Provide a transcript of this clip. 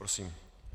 Prosím.